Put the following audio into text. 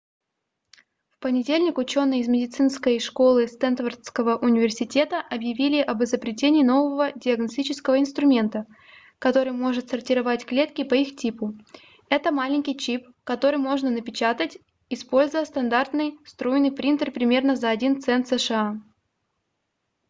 в понедельник ученые из медицинской школы стэнфордского университета объявили об изобретении нового диагностического инструмента который может сортировать клетки по их типу это маленький чип который можно напечатать используя стандартный струйный принтер примерно за 1 цент сша